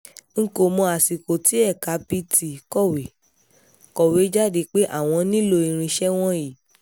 n kò mọ àsìkò tí ẹ̀ka pt kọ̀wé kọ̀wé jáde pé àwọn nílò irinṣẹ́ wọ̀nyí